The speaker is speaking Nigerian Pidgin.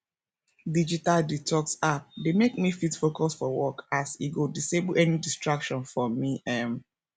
digital detox app dey mek me fit focus for work as e go disable any distractions for me um